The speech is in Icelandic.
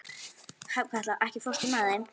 Hrafnkatla, ekki fórstu með þeim?